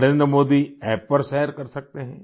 Narendra Modi App पर share कर सकते हैं